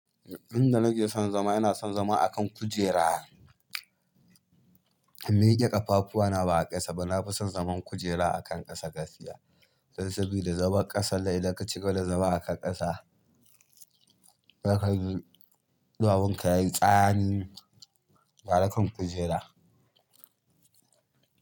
Inda nake son zama, ina son zama a kan kujera. Nida ƙafafuwa na ba a ƙasa ba. Na fi son zaman kujera a kan ƙasa gaskiya. Dan sabida da zaman ƙasannan idan ka cika da zama a kan ƙasa, zakaji ɗuwawun ka ya yi tsani gara kan kujera.